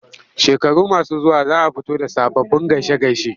Shekaru masu zuwa za a fito da sababbin gaishe-gaishe.